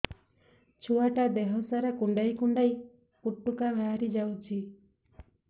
ଛୁଆ ଟା ଦେହ ସାରା କୁଣ୍ଡାଇ କୁଣ୍ଡାଇ ପୁଟୁକା ବାହାରି ଯାଉଛି